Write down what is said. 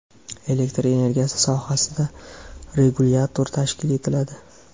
elektr energiyasi sohasida regulyator tashkil etiladi.